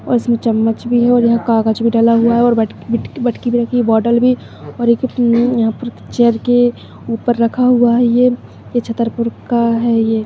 और इस मे चम्मच भी है और यहाँ कागज भी डला हुआ है बटकी बिटकी बटकी भी रखी हुई है बॉटल भी चेयर के उपर रखा हुआ है ये चतरपुर का है।